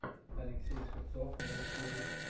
алексей шевцов на ютубе